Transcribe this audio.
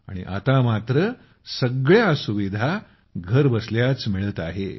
आणि आता सार्या सुविधा घरबसल्याच मिळत आहेत